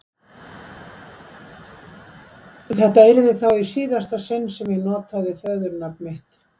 Þetta yrði þá í síðasta sinn sem ég notaði föðurnafn mitt.